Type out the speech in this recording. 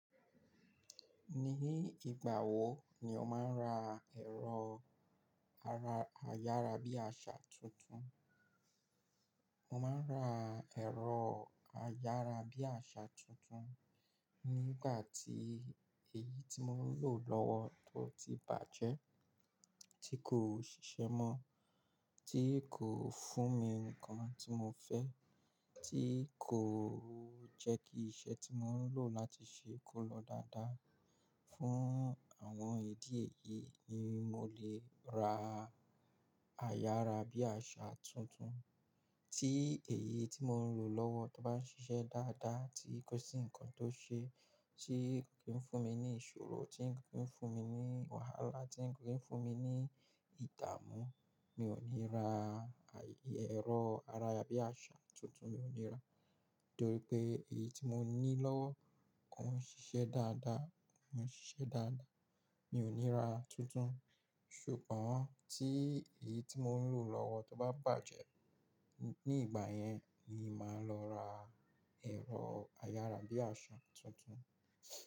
Ní ìgbà wo ni o máa ń ra ẹ̀rọ ayára bí àṣá tuntun? Mo máa ń ra ẹ̀rọ ayára bí àṣá tuntun nígbà tí èyí tí mò ń lò lọ́wọ́ ba ti bàjẹ́, tí kò ṣiṣẹ́ mọ́, tí kò fún mi ní nǹkan tí mo fẹ́, tí kò jẹ́ kí iṣẹ́ tí mò ń lòo lati se kó lọ dáadáa. Fún àwọn ìdí èyí ni mo fi llè ra ero ayára bí àṣá tuntun. Tí èyí tí mò ń lò lọ́wọ́ bá ń ṣiṣẹ́ dáadáa, tí kò sí nǹkan tó ṣe, tí kò kí ń fún mi ní ìṣòro, tí kò kí ń fún mi ní wàhálà, tí kò kí ń fún mi ní ìdààmú, mi ò ní ra ẹ̀rọ ayára bí àṣá tuntun, Nítorí pé èyí tí mò ń ní lọ́wọ́ kò n ṣiṣẹ́ dáadáa, Mi ò ní ra tuntun. Ṣùgbọ́n tí èyí tí mò ń lò lọ́wọ́ bá bàjẹ́, ní ìgbà yẹn ni màá lọ ra ẹ̀rọ ayára bí àṣá tuntun.